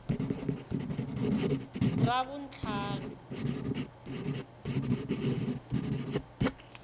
ravuntlhanu